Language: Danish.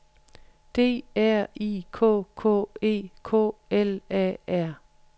D R I K K E K L A R